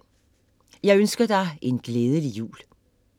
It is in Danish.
Jeg ønsker dig en glædelig jul.